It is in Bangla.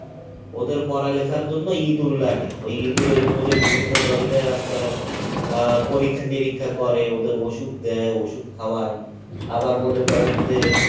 ওদের পড়ালেখার জন্য ইঁদুর লাগে ওই ইঁদুরের ওপরে বিভিন্ন ধরণের আপনার আহ পরীক্ষা নিরীক্ষা করে ওদের ওষুধ দেয় ওষুধ খাওয়ায় আবার মনে করেন যে